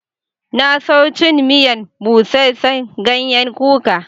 Na so cin miyan buseser ganyen kuka.